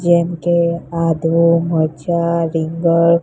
જેમ કે આદુ મરચા રીંગણ--